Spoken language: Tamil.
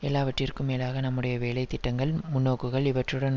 எல்லாவற்றிற்கும் மேலாக நம்முடைய வேலைத்திட்டங்கள் முன்னோக்குகள் இவற்றுடன்